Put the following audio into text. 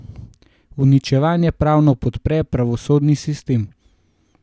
Uničevanje pravno podpre pravosodni sistem.